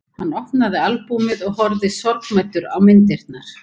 Hann opnaði albúmið og horfði sorgmæddur á myndirnar.